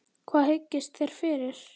Hvað hyggist þér fyrir?